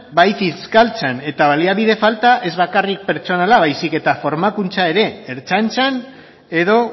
bai fiskaltzan eta baliabide falta ez bakarrik pertsonala baizik eta formakuntza ere ertzaintzan edo